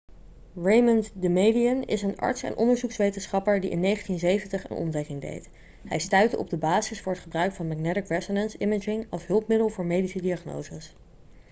raymond damadian is een arts en onderzoekswetenschapper die in 1970 een ontdekking deed hij stuitte op de basis voor het gebruik van magnetic resonance imaging als hulpmiddel voor medische diagnoses